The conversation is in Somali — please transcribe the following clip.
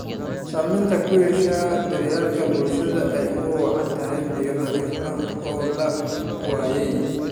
Saamayn ku yeeshay daryeelka bulshada oo ay ugu wacan tahay biyo nadiif ah oo la waayay.